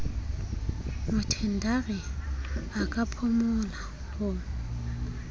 mothendari a ka phumola ho